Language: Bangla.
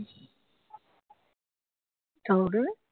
চাঁদ ওঠেনি